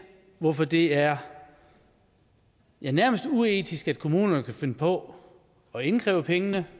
hvorfor det er ja nærmest uetisk at kommunerne kan finde på at indkræve pengene